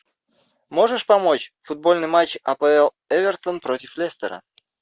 можешь помочь футбольный матч апл эвертона против лестера